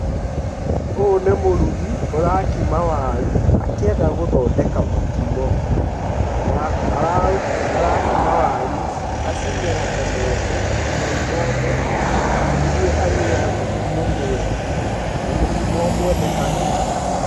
Ũyũ nĩ mũrugi ũrakima waru, akienda gũthondeka mokimo na arakima waru ici acimondemonde nginya imoneke nĩguo agĩĩ na mokimo mwega na ũkwendeka nĩ andũ.